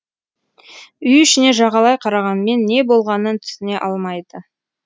үй ішіне жағалай қарағанмен не болғанын түсіне алмайды